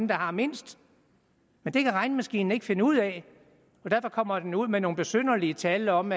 der har mindst men det kan regnemaskinen ikke finde ud af og derfor kommer den ud med nogle besynderlige tal om